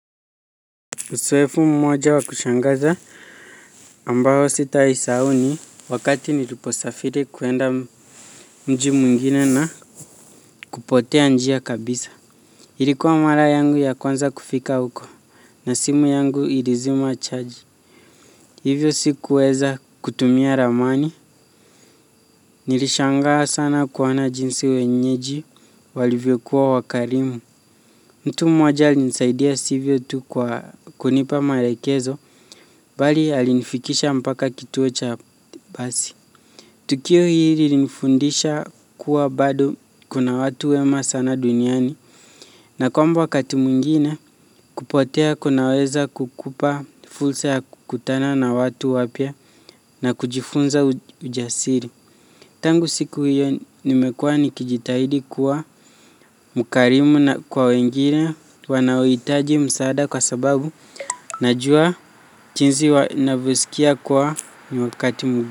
Uzoefu mmoja wa kushangaza ambao sitawahi sahau ni wakati niliposafiri kuenda mji mwingine na kupotea njia kabisa. Ilikuwa mara yangu ya kwanza kufika huko na simu yangu ilizima chaji. Hivyo sikuweza kutumia ramani. Nilishangaa sana kuona jinsi wenyeji walivyokuwa wakarimu. Mtu mmoja alinisaidia sivyo tu kwa kunipa maelekezo, bali alinifikisha mpaka kituo cha basi. Tukio hili linifundisha kuwa bado kuna watu wema sana duniani, na kwamba wakati mwingine kupotea kunaweza kukupa fursa ya kukutana na watu wapya na kujifunza ujasiri. Tangu siku hiyo nimekuwa nikijitahidi kuwa mkarimu kwa wengine wanaohitaji msaada kwa sababu najua jinsi wanavyosikia kuwa ni wakati.